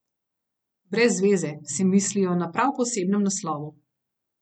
Brez veze, si mislijo na prav posebnem naslovu.